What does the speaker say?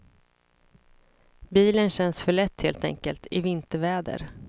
Bilen känns för lätt helt enkelt, i vinterväder.